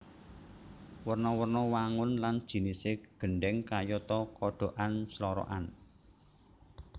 Werna werna wangun lan jinisé gendhèng kayata kodhokan slorokan